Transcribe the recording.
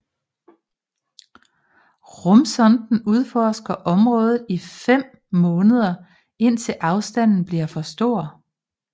Rumsonden udforsker området i fem måneder indtil afstanden bliver for stor